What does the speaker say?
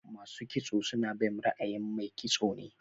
Masu kitso suna bin ra'ayin Mai kitso ne.